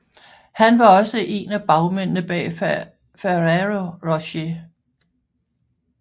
Han var også en af bagmændene bag Ferrero Rocher